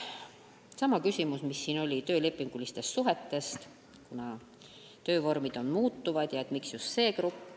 Oli sama küsimus, mis siingi, töölepinguliste suhete kohta, kuna töövormid on muutuvad ja miks valiti just see grupp.